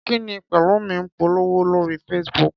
Kí ni Pẹ̀lúmi ń polówó lórí Facebook?